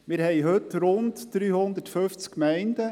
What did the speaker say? Wir haben heute rund 350 Gemeinden.